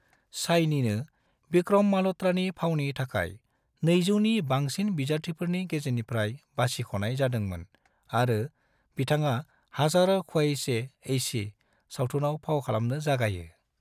शाइनीनो विक्रम मल्होत्रा ​नि फावनि थाखाय 200 नि बांसिन बिजाथिफोरनि गेजेरनिफ्राय बासिख'नाय जादोंमोन आरो बिथाङा हज़ारों ख्वाहिशें ऐसी सावथुनाव फाव खालामनो जागायो।